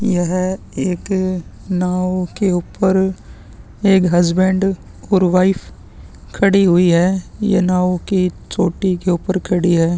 यह एक नाँव के ऊपर एक हस्बैंड और वाइफ खड़ी हुई है ये नाव के चोटी के ऊपर खड़ी है।